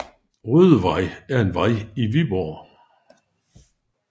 Rødevej er en vej i Viborg